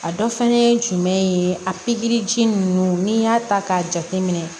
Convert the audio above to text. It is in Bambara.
A dɔ fana ye jumɛn ye a pikiri ji nunnu n'i y'a ta k'a jate minɛ